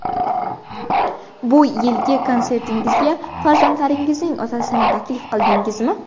Bu yilgi konsertingizga farzandlaringizning otasini taklif qildingizmi?